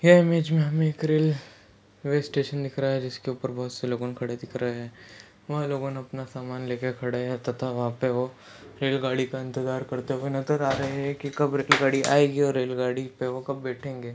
यह इमेज मे हमे एक रे ल्वे स्टेशन दिख रहा है जिसके ऊपर बहुत से लोग खड़े दिख रहे है वह लोग अपना समान लेके खड़े है तथा वह पे वो रेल गाड़ी का इंतजार करते नजर आ रहे है की कब रेल गाड़ी आएगी ? और रेल गाड़ी पे वो कब बैठेंगे ?